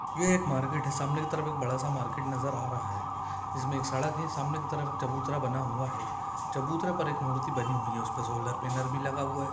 यह एक मार्केट है सामने के तरफ एक बड़ा सा मार्केट नजर आ रहा है जिसमें एक सड़क है सामने की तरफ एक चबूतरा बना हुआ है चबूतरे पर एक मूर्ति बनी हुई है उसपे सोलर पैनल भी लगा हुआ है।